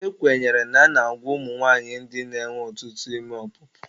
Ekwenyere na a na-abụ ụmụ nwanyị ndị na-enwe ọtụtụ ime ọpụpụ.